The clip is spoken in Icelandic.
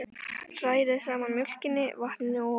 Hrærið saman mjólkinni, vatninu og olíunni.